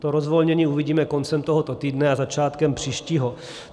To rozvolnění uvidíme koncem tohoto týdne a začátkem příštího.